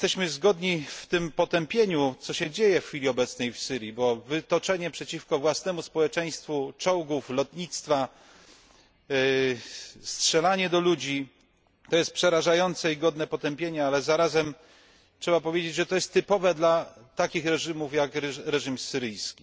Zgodnie potępiamy to, co dzieje się w chwili obecnej w Syrii, bo wytoczenie przeciwko własnemu społeczeństwo czołgów, lotnictwa, strzelanie do ludzi jest przerażające i godne potępienia, ale zarazem trzeba powiedzieć, że jest to typowe dla takich reżimów jak reżim syryjski.